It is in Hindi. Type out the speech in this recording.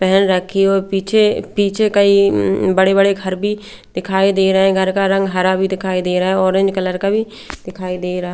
पेहेन रखी हो पीछे पीछे कई अम्म बड़े-बड़े घर भी देखाई दे रहे हैं घर का रंग हरा भी दिखाई दे रहा है ऑरेंज कलर भी दिखाई दे रहा --